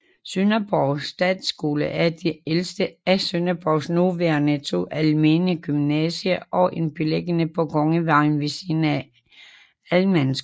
Sønderborg Statsskole er det ældste af Sønderborgs nuværende to almene gymnasier og er beliggende på Kongevejen ved siden af Ahlmannsskolen